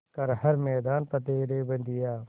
कर हर मैदान फ़तेह रे बंदेया